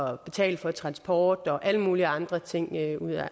at betale for transport og alle mulige andre ting af